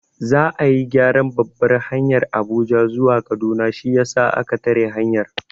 Za'a yi gyaran babbar hanyar Abuja zuwa Kaduna shiyasa a ka tare hanyar.